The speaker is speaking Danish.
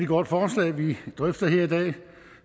godt forslag vi drøfter her i dag